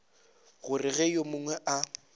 gore ge yo mongwe a